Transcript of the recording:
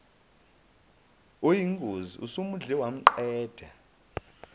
oyingozi osumudle wamqeda